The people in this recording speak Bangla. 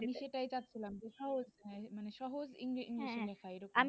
আমি সেটাই চাচ্ছিলাম যেথায় মানে সহজ english লেখা এইরকম